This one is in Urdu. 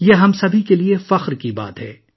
یہ ہم سب کے لیے فخر کی بات ہے